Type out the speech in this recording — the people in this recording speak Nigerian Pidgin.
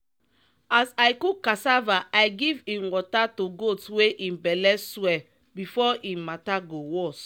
as i cook cassava i give im water to goat wey im belle swell before im mata go worse.